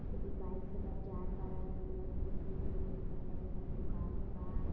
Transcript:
कोई बाइक से कर जाट बडन। कुल आदमी न आदमी न लौकत दोनो साइड दुकानो बा।